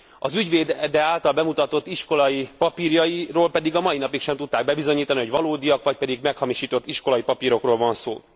Az ügyvédje által bemutatott iskolai papírjairól pedig a mai napig sem tudták bebizonyítani, hogy valódiak, vagy pedig meghamisított iskolai papírokról van szó.